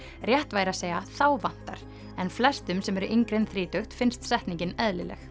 rétt væri að segja þá vantar en flestum sem eru yngri en þrítugt finnst setningin eðlileg